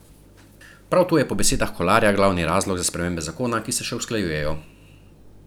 Prav to je po besedah Kolarja glavni razlog za spremembe zakona, ki se še usklajujejo.